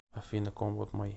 афина ком вот мэй